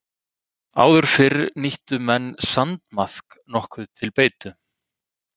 Áður fyrr nýttu menn sandmaðk nokkuð til beitu.